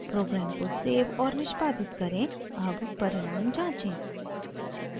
programme को save और निष्पादित करें अब परिणाम जाँचें